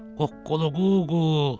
Qoqqoluquu.